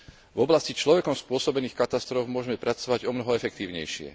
v oblasti človekom spôsobených katastrof môžme pracovať omnoho efektívnejšie.